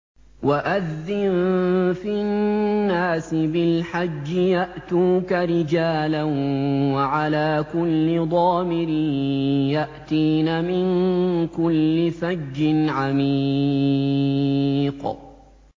وَأَذِّن فِي النَّاسِ بِالْحَجِّ يَأْتُوكَ رِجَالًا وَعَلَىٰ كُلِّ ضَامِرٍ يَأْتِينَ مِن كُلِّ فَجٍّ عَمِيقٍ